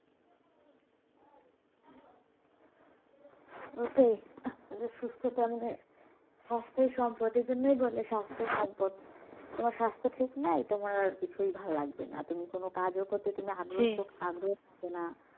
ওটাই আহ মানে সুস্থতা মানে স্বাস্থই সম্পদ এই জন্যই বলে স্বাস্থই সম্পদ তোমার স্বাস্থ ঠিক নাই তোমার কিছুই ভাল লাগবে না তুমি কোন কাজও করতে তুমি আগ্রহ আগ্রহ থাকে না